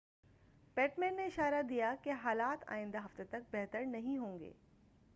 پٹمین نے اشارہ دیا کہ حالات آئندہ ہفتہ تک بہتر نہیں ہوں گے